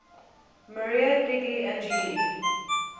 maria degli angeli